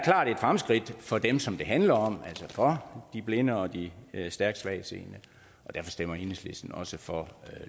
fremskridt for dem som det handler om altså for de blinde og de stærkt svagtseende og derfor stemmer enhedslisten også for